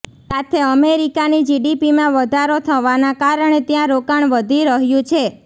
સાથે અમેરિકાની જીડીપીમાં વધારો થવાના કારણે ત્યાં રોકાણ વધી રહ્યું છે